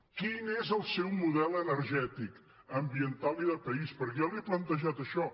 quin és el seu model energètic ambiental i de país perquè jo li he plantejat això